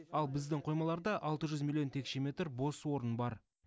ал біздің қоймаларда алты жүз миллион текше метр бос орын бар